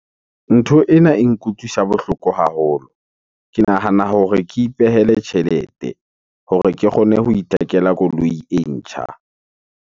Ntho ena e nkutlwisa bohloko haholo. Ke nahana hore ke ipehele tjhelete hore ke kgone ho ithekela koloi e ntjha.